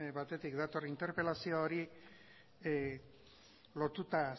batetik dator interpelazioa hori lotuta